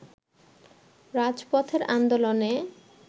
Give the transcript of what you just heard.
রাজপথের আন্দোলনে